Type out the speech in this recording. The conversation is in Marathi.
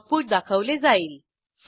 आऊटपुट दाखवले जाईल